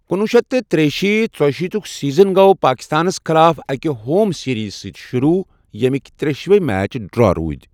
کُنوُہ شیٚتھ تہٕ ترٛیہِ شیٖتھ ژویہِ شیٖتک سیٖزن گوٚو پٲکِستانس خٕلاف اَکہِ ہوم سیٖریٖز سٕتۍ شُروٗع، ییٚمِکۍ ترٛیٚشوَے میچ ڈرٛا روٗدۍ۔